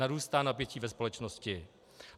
Narůstá napětí ve společnosti.